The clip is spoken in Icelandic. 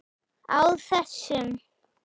Á þessum